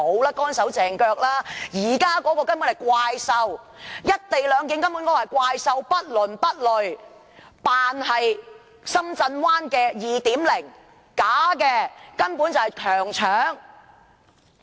現時這項《條例草案》根本就是"怪獸"，不倫不類，扮作深圳灣 "2.0"， 但卻是虛假的，根本就是強搶。